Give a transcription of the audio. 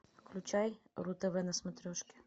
включай ру тв на смотрешке